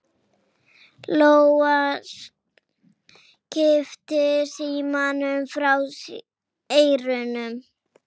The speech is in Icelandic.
Lóa kippti símanum frá eyranu.